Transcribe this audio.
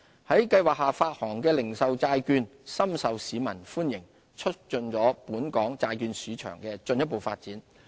在計劃下發行的零售債券，深受市民歡迎，促進了本港債券市場的進一步發展。